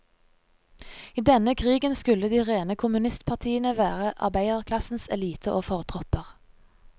I denne krigen skulle de rene kommunistpartiene være arbeiderklassens elite og fortropper.